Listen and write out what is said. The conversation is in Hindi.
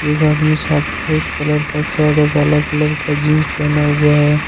एक आदमी सफेद कलर का शर्ट और काला कलर का जींस पहना हुआ है।